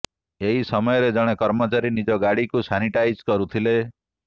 ଏହି ସମୟରେ ଜଣେ କର୍ମଚାରୀ ନିଜ ଗାଡିକୁ ସାନିଟାଇଜ୍ କରୁଥିଲେ